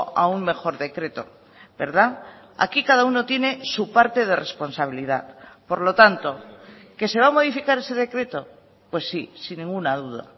a un mejor decreto verdad aquí cada uno tiene su parte de responsabilidad por lo tanto que se va a modificar ese decreto pues sí sin ninguna duda